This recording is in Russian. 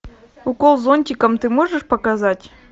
укол зонтиком ты можешь показать